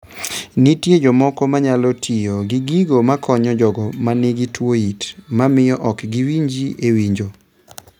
Nitie jomoko manyalo tiyo gi gigo makonyo jogo manigi tuo it mamio ok giwinji e winjo